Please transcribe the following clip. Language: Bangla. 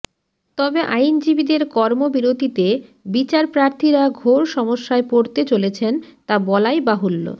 তবে আইনজীবীদের কর্মবিরতীতে বিচার প্রার্থীরা ঘোর সমস্যায় পড়তে চলেছেন তা বলাই বাহুল্য